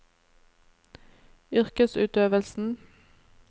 yrkesutøvelsen